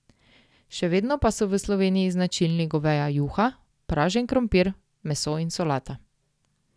Še vedno pa so v Sloveniji značilni goveja juha, pražen krompir, meso in solata.